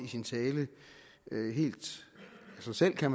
sin tale helt af sig selv kan